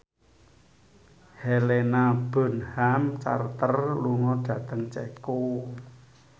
Helena Bonham Carter lunga dhateng Ceko